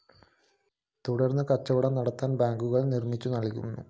തുടര്‍ന്ന് കച്ചവടം നടത്താന്‍ ബാങ്കുകള്‍ നിര്‍മ്മിച്ചു നല്‍കും